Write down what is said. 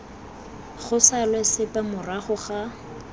go salwe sepe morago fa